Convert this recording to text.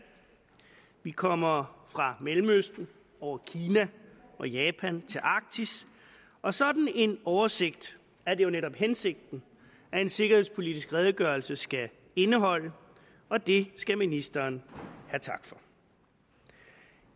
vi kommer fra mellemøsten over kina og japan til arktis og sådan en oversigt er det jo netop hensigten at en sikkerhedspolitisk redegørelse skal indeholde og det skal ministeren have tak for